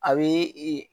A bɛ i